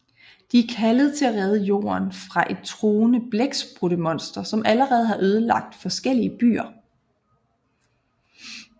De er kaldet til at redde Jorden fra et truende blækspruttemonster som allerede har ødelagt forskellige byer